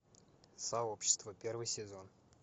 сообщество первый сезон